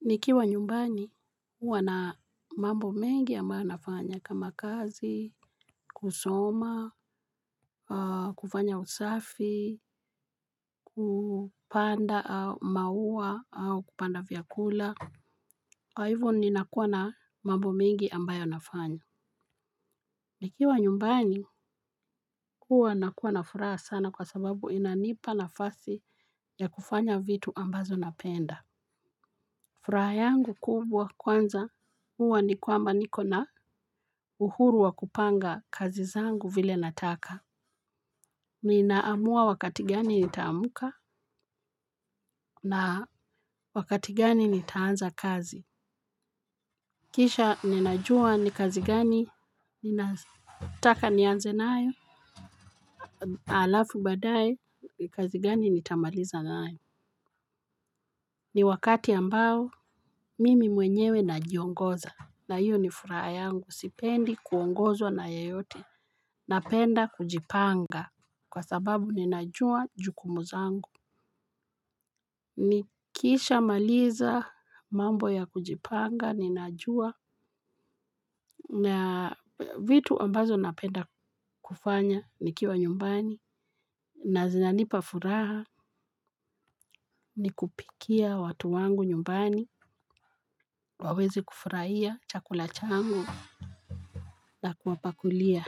Nikiwa nyumbani huwa na mambo mengi ambayo nafanya kama kazi, kusoma, kufanya usafi, kupanda mauwa au kupanda vyakula. Kwa hivyo ni nakuwa na mambo mengi ambayo nafanya. Nikiwa nyumbani huwa na kuwa na furaha sana kwa sababu inanipa nafasi ya kufanya vitu ambazo napenda. Furaha yangu kubwa kwanza huwa ni kwamba niko na uhuru wa kupanga kazi zangu vile nataka. Ninaamua wakati gani nitaamka na wakati gani nitaanza kazi. Kisha ninajua ni kazi gani ninataka nianze nayo alafu badaye kazi gani nitamaliza nayo. Ni wakati ambao mimi mwenyewe najiongoza na hiyo ni furaha yangu sipendi kuongozwa na yayote. Napenda kujipanga kwa sababu ninajua jukumu zangu. Nikisha maliza mambo ya kujipanga ninajua vitu ambazo napenda kufanya nikiwa nyumbani. Na zinanipa furaha, nikupikia watu wangu nyumbani waweze kufurahia chakula changu. Na kuwapakulia,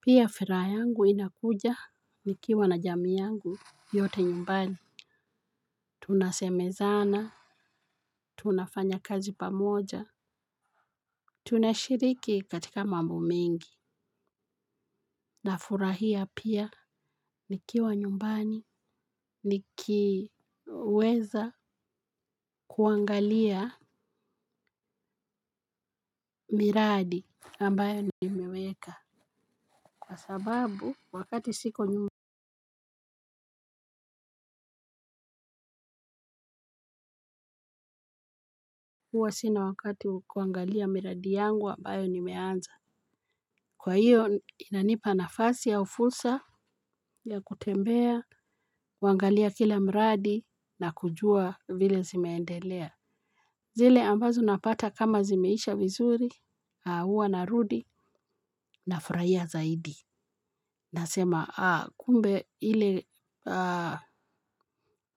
pia furaha yangu inakuja nikiwa na jamii yangu yote nyumbani. Tunasemezana, tunafanya kazi pamoja, tunashiriki katika mambo mengi, na furahia pia nikiwa nyumbani, nikiweza kuangalia miradi ambayo nime weka. Kwa sababu, wakati siko nyum, huwa sina wakati kuangalia miradi yangu ambayo nimeanza. Kwa hiyo inanipa nafasi au fulsa ya kutembea, kuangalia kila mradi na kujua vile zimeendelea. Zile ambazo napata kama zimeisha vizuri, huwa narudi na furahia zaidi. Nasema kumbe ile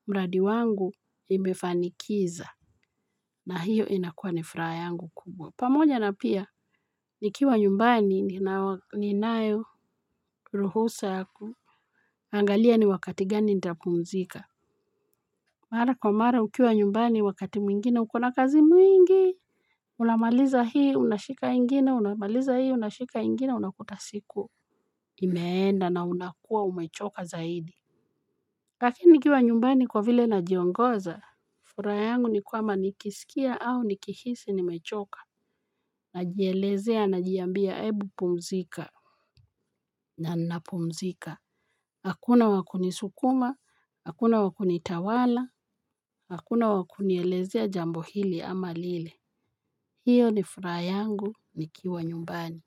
mradi wangu imefanikiza na hiyo inakua ni furaha yangu kubwa. Pamoja na pia, nikiwa nyumbani, ninayo, ruhusa ya kuangalia ni wakati gani nitapumzika. Mara kwa mara, ukiwa nyumbani, wakati mwingine, uko na kazi mwingi, unamaliza hii, unashika ingine, unamaliza hii, unashika ingine, unakuta siku, imeenda na unakua umechoka zaidi. Lakini nikiwa nyumbani kwa vile na jiongoza, furaha yangu ni kwamba nikisikia au nikihisi nimechoka, na jielezea na jiambia ebu pumzika. Na ninapumzika, hakuna wakunisukuma, hakuna wakunitawala, hakuna wakunielezea jambo hili ama lile, hiyo ni furaha yangu nikiwa nyumbani.